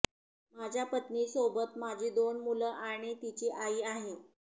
माझ्या पत्नीसोबत माझी दोन मुलं आणि तिची आई आहे